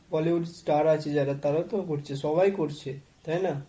bollywood star আছে যারা তারাও তো করছে, সবাই করছে। তাই না?